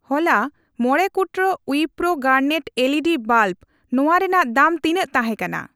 ᱦᱚᱞᱟ ᱢᱚᱲᱮ ᱠᱩᱴᱨᱟᱹ ᱠᱚ ᱣᱤᱯᱨᱳ ᱜᱟᱨᱱᱮᱴ ᱮᱞᱤᱰᱤ ᱵᱟᱞᱵ ᱱᱚᱣᱟ ᱨᱮᱱᱟᱜ ᱫᱟᱢ ᱛᱤᱱᱟᱜ ᱛᱟᱦᱮᱠᱟᱱᱟ?